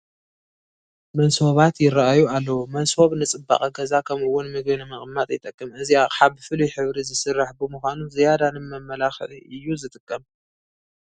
መሶባት ይርአዩ ኣለዉ፡፡ መሶብ ንፅባቐ ገዛ ከምኡውን ምግቢ ንምቕማጥ ይጠቅም፡፡ እዚ ኣቕሓ ብፍሉይ ሕብሪ ዝስራሕ ብምዃኑ ዝያዳ ንመመላክዒ እዩ ዝጠቅም፡፡